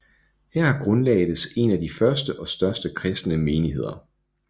Her grundlagdes en af de første og største kristne menigheder